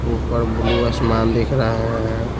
ऊपर ब्लू आसमान दिख रहा है।